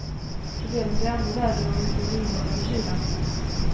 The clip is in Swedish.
Problemen blir ännu värre om vi får en ihållande kyla.